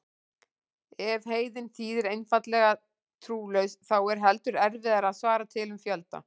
Ef heiðinn þýðir einfaldlega trúlaus þá er heldur erfiðara að svara til um fjölda.